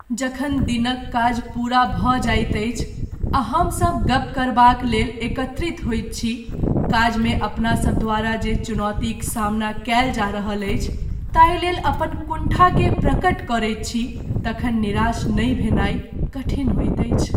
जखन दिनक काज पूरा भऽ जाइत अछि आ हमसभ गप करबाक लेल एकत्रित होइत छी, काजमे अपनासभ द्वारा जे चुनौतीक सामना कयल जा रहल अछि ताहि लेल अपन कुण्ठा के प्रकट करैत छी तखन निराश नहि भेनाइ कठिन होइत अछि।